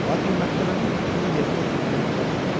Lakin məhkəmənin hökmünü yerinə yetirməyə macal tapmırlar.